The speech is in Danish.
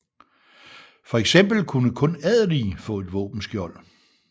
Fx kunne kun adelige få et våbenskjold